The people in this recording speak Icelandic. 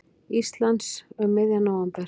Íslands um miðjan nóvember.